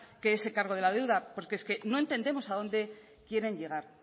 que ese cargo de la deuda porque es que no entendemos a dónde quieren llegar